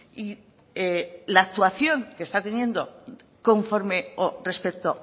y la actuación que está teniendo conforme o respecto